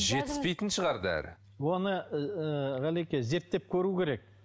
жетіспейтін шығар дәрі оны ыыы ғалеке зерттеп көру керек